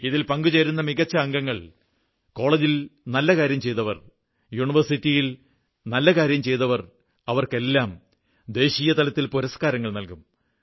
ഇതിൽ പങ്കുചേരുന്ന മികച്ച അംഗങ്ങൾ കോളജിൽ നല്ല കാര്യം ചെയ്തവർ യൂണിവേഴ്സിറ്റിയിൽ നല്ലകാര്യം ചെയ്തവർ എന്നിവർക്കെല്ലാം ദേശീയ തലത്തിൽ പുരസ്കാരങ്ങൾ നല്കും